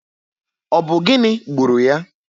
Ọ bụ gịnị gburu ya?